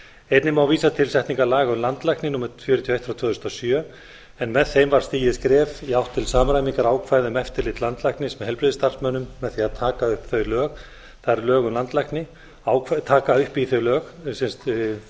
einnig má vísa til setningar laga um landlækni númer fjörutíu og eitt tvö þúsund og sjö en með þeim var stigið skref til samræmingar ákvæða um eftirlit landlæknis með heilbrigðisstarfsmönnum með því að taka upp í þau lög það er lög